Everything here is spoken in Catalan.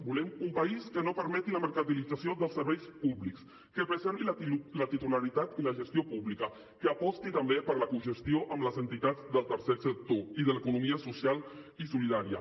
volem un país que no permeti la mercantilització dels serveis públics que preservi la titularitat i la gestió públiques que aposti també per la cogestió amb les entitats del tercer sector i de l’economia social i solidària